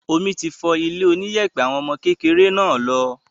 Omi ti fọ ilé oníyẹ̀pẹ̀ àwọn ọmọ kékeré náà lọ.